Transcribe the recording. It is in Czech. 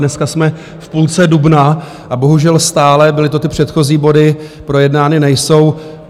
Dneska jsme v půlce dubna a bohužel stále - byly to ty předchozí body - projednány nejsou.